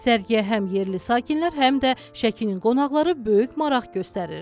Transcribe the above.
Sərgiyə həm yerli sakinlər, həm də Şəkinin qonaqları böyük maraq göstərir.